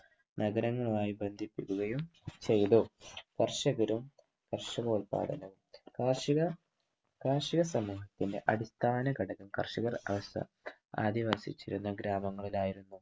നഗരങ്ങളായി ബന്ധിപ്പിക്കുകയും ചെയ്‌തു. കർഷകരും കർഷകോല്പാദനവും കാർഷിക സമൂഹത്തിന്‍റെ അടിസ്ഥാനഘടകം കർഷക അവസ്ഥ അധിവസിച്ചിരുന്ന ഗ്രാമങ്ങളിൽ ആയിരുന്നു.